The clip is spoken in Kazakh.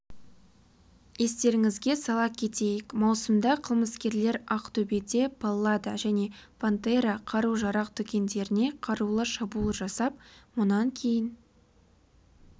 естеріңізге сала кетейік маусымда қылмыскерлер ақтөбеде паллада және пантера қару-жарақ дүкендеріне қарулы шабуыл жасап мұнан кейін